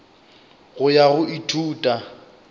go ya go go ithuta